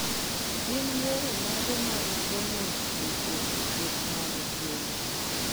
Gin yore mage mag geng'o tuoche e kweth mag gwen?